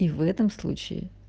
и в этом случае